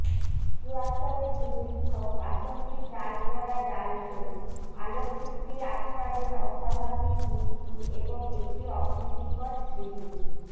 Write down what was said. চুয়াত্তরের দুর্ভিক্ষঃ বাসন্তীর জাল পরা জাল ছবিঃ আলোকচিত্রি আফতাবের অস্বাভাবিক মৃত্যু এবং একটি অপ্রীতিকর স্মৃতি